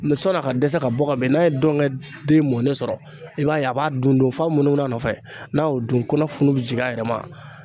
Mɛ sɔni a ka dɛsɛ ka bɔ ka bin n'a ye dɔngɛ den mɔnnen sɔrɔ i b'a ye a b'a dun dun f'a be munumunu a nɔfɛ n'a y'o dun kɔnɔ funu be jigin a yɛrɛ ma